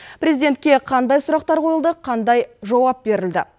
президентке қандай сұрақтар қойылды қандай жауап берілді